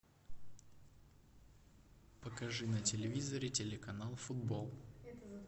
покажи на телевизоре телеканал футбол